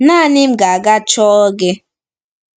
Naanị m ga-aga chọọ gị. ”